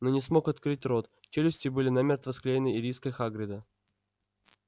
но не смог открыть рот челюсти были намертво склеены ириской хагрида